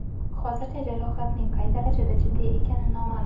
Hozircha jarohatning qay darajada jiddiy ekani noma’lum.